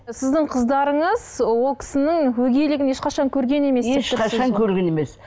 сіздің қыздарыңыз ол кісінің өгейлігін ешқашан көрген емес ешқашан көрген емес